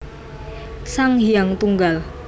Sang Hyang Tunggal